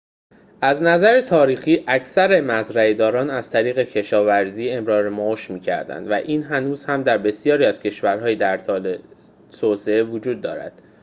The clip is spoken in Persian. از نظر تاریخی اکثر مزرعه‌داران از طریق کشاورزی امرار معاش می‌کردند و این هنوز هم در بسیاری از کشورهای در حال توسعه وجود دارد